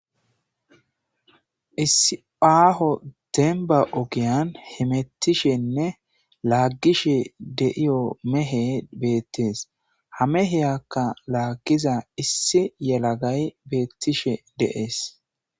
issi aaho demba ogiyan hemettishenne laaggishe deiyo mehe beettees ha meheyakka laaggiza issi yelagay beettishe deees